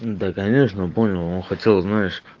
да конечно понял он хотел знаешь